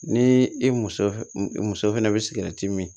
Ni i muso muso fɛnɛ bɛ min